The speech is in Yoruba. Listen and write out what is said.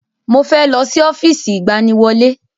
Mo fẹ́ lọ sí ọ́fíìsì ìgbaniwọlé